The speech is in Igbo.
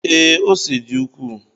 Ee, ose dị ukwuu.